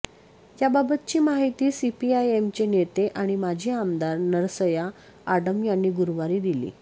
याबाबतची माहिती सीपीआयएमचे नेते आणि माजी आमदार नरसय्या आडम यांनी गुरुवारी दिली